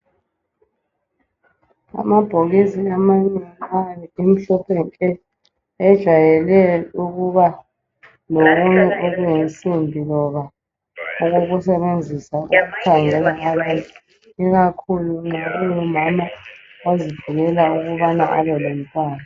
Amabhokisi amanengi ayabe emhlophe nke ejayele ukuba lokunye okuyimsimbi loba okokusebenzisa ukukhangela abanye ikakhulu nxa ungumama ozivikelayo ukubana abelomntwana.